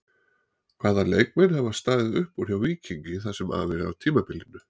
Hvaða leikmenn hafa staðið upp úr hjá Víkingi það sem af er tímabili?